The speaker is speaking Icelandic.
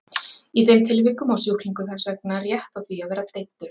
Í þeim tilvikum á sjúklingur þess vegna rétt á því að vera deyddur.